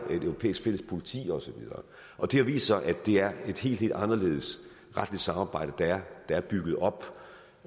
europæisk fælles politi og så videre og det har vist sig at det er et helt helt anderledes retligt samarbejde der er bygget op